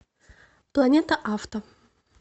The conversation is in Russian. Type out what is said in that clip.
планета авто